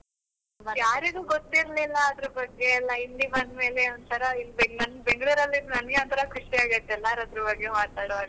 ಯಾರಿಗೂ ಗೊತ್ತಿರಲಿಲ್ಲ ಅದರ ಬಗ್ಗೆ ಎಲ್ಲಾ ಇಲ್ಲಿ ಬಂದ್ಮೇಲೆ ಎಲ್ಲ ಒಂತರ ಬೆಂಗ್ಳುರ್ ಅಲ್ಲಿ ಇದ್ದು ನಂಗೆ ಒಂತರ ಖುಷಿ ಆಗ್ಬಿಟ್ಟಿತ್ತು ಎಲ್ಲರು ಅದ್ರ ಬಗ್ಗೆ ಮಾತಾಡುವಾಗ.